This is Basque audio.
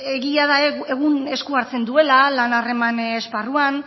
egia da egun esku hartzen duela lan harreman esparruan